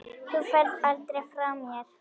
Þú ferð aldrei frá mér.